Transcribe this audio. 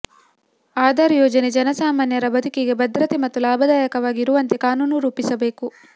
ಆಧಾರ್ ಯೋಜನೆ ಜನಸಾಮಾನ್ಯರ ಬದುಕಿಗೆ ಭದ್ರತೆ ಮತ್ತು ಲಾಭದಾಯಕವಾಗಿ ಇರುವಂತೆ ಕಾನೂನು ರೂಪಿಸಬೇಕು